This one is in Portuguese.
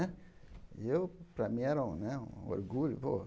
E eu, para mim, era um né um orgulho pô.